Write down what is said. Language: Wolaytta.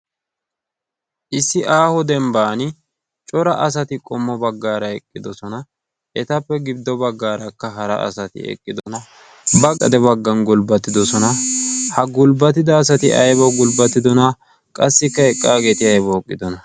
issi aaho dembban cora asati qommo baggaara eqqidosona etappe gibddo baggaarakka hara asati eqqidona baqqade baggan gulbbatidosona. ha gulbbatida asati aybawu gulbbatidona qassikka eqqaageeti aybawu eqqidona?